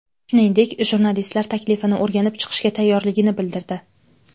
Shuningdek, jurnalistlar taklifini o‘rganib chiqishga tayyorligini bildirdi.